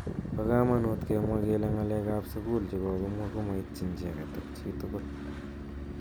Bo kamanut kemwa kele ng'alek ab sukul chekokimwa ko maityin chitugul.